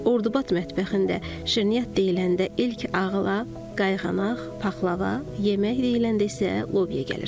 Ordubad mətbəxində şirniyyat deyiləndə ilk ağıla qayğanaq, paxlava, yemək deyiləndə isə lobya gəlir.